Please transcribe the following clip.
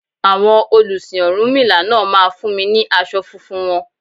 Àwọn olùsìn ọ̀rúnmìlà náà máa fún mi ní aṣọ funfun wọn.